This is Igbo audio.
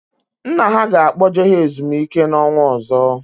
Nna ha ga-akpoje ha ezumike n'ọnwa ọzọ